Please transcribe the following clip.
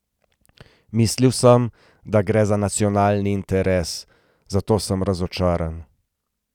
Mislil sem, da gre za nacionalni interes, zato sem razočaran.